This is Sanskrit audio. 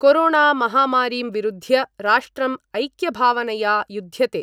कोरोणामहामारीं विरुध्य राष्ट्रम् ऐक्यभावनया युद्ध्यते।